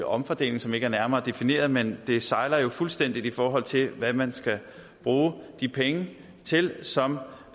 omfordeling som ikke er nærmere defineret men det sejler jo fuldstændig i forhold til hvad man skal bruge de penge til som